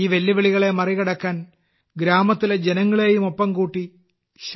ഈ വെല്ലുവിളികളെ മറികടക്കാൻ ഗ്രാമത്തിലെ ജനങ്ങളെയും ഒപ്പം കൂട്ടി ശ്രീ